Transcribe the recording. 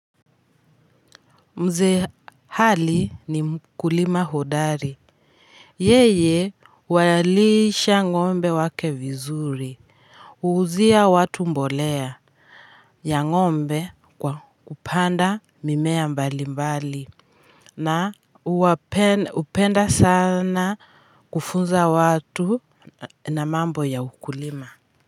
Mzee Ali ni mkulima hodari yeye huwalisha ngombe wake vizuri huuzia watu mbolea ya ngombe kwa kupanda mimea mbalimbali na upenda sana kufunza watu na mambo ya ukulima.